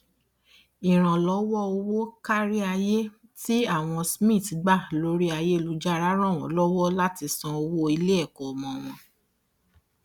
ìrànlọwọ owó kárí ayé tí àwọn smith gba lórí ayélujára ran wọn lọwọ láti san owó iléẹkọ ọmọ wọn